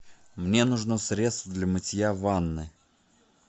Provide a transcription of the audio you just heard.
мне нужно средство для мытья ванны